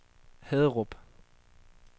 Haderup